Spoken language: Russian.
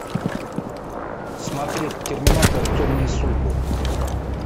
смотреть терминатор темные судьбы